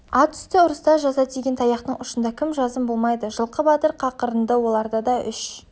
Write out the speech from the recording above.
ат үсті ұрыста жаза тиген таяқтың ұшында кім жазым болмайды жылқы батыр қақырынды оларда да үш